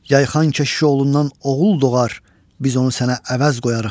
Yayxan keşiş oğlundan oğul doğar, biz onu sənə əvəz qoyarıq.